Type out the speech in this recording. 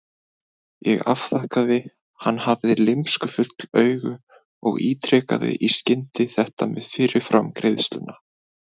Ég afþakkaði, hann hafði lymskufull augu, og ítrekaði í skyndi þetta með fyrirframgreiðsluna.